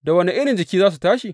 Da wane irin jiki za su tashi?